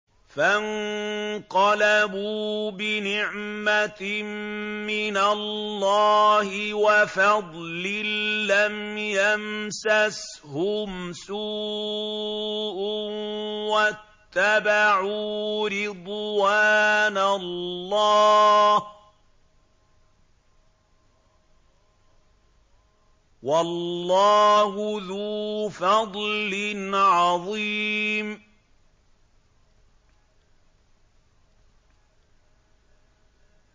فَانقَلَبُوا بِنِعْمَةٍ مِّنَ اللَّهِ وَفَضْلٍ لَّمْ يَمْسَسْهُمْ سُوءٌ وَاتَّبَعُوا رِضْوَانَ اللَّهِ ۗ وَاللَّهُ ذُو فَضْلٍ عَظِيمٍ